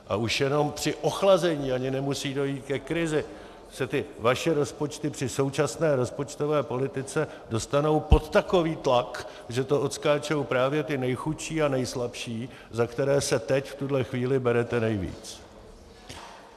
A už jenom při ochlazení, ani nemusí dojít ke krizi, se ty vaše rozpočty při současné rozpočtové politice dostanou pod takový tlak, že to odskáčou právě ti nejchudší a nejslabší, za které se teď v téhle chvíli berete nejvíc.